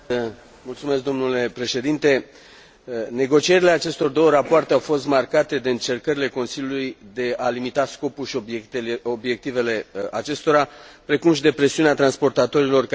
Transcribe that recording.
Negocierile acestor două rapoarte au fost marcate de încercările Consiliului de a limita scopul și obiectivele acestora, precum și de presiunea transportatorilor care se confruntă cu efectele crizei economice.